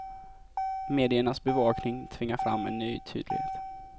Mediernas bevakning tvingar fram en ny tydlighet.